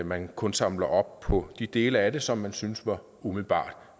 man kun samler op på de dele af det som man syntes var umiddelbart